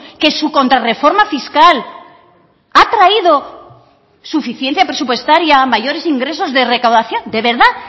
que su contrarreforma fiscal ha traído suficiente presupuestaria mayores ingresos de recaudación de verdad